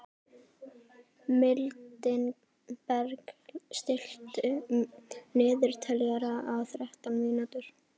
Mildinberg, stilltu niðurteljara á þrettán mínútur.